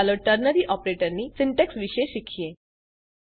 ચાલો ટર્નરી ઓપરેટરની સીન્ટેક્ષ વિશે શીખીએ